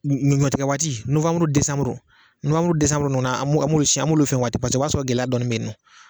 ɲɔtikgɛ waati nowanburu desanburu, nowanburu ni desanburu ninnu, an b'olu fɛ waati paseke o b'a sɔrɔ gɛlɛya dɔnni bɛ yen.